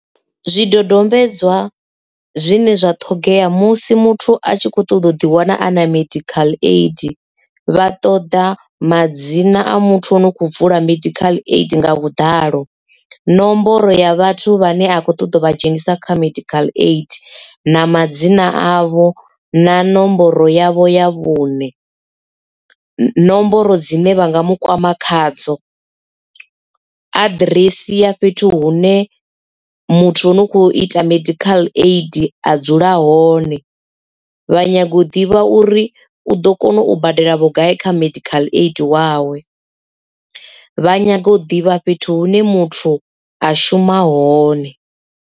Zwidodombedzwa zwine zwa ṱhogea musi muthu a tshi kho ṱoḓa u ḓi wana ana medical aid vha ṱoḓa madzina a muthu ane u kho vula medical aid nga vhuḓalo nomboro ya vhathu vha ne a khou ṱoḓo vha dzhenisa kha medical aid na madzina avho na nomboro yavho ya vhuṋe nomboro dzine vha nga mu kwama khadzo aḓiresi ya fhethu hune muthu ane u kho ita medical aid a dzula hone vha nyago u ḓivha uri u ḓo kona u badela vhugai kha medical aid wawe vha nyaga u ḓivha fhethu hune muthu a shuma hone.